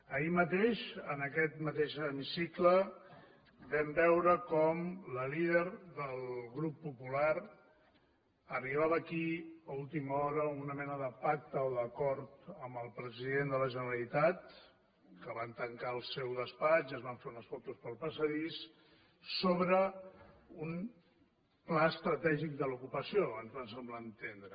ahir mateix en aquest mateix hemicicle vam veure com la líder del grup popular arribava aquí a última hora a una mena de pacte o d’acord amb el president de la generalitat que van tancar al seu despatx es van fer unes fotos pel passadís sobre un pla estratègic de l’ocupació ens va semblar entendre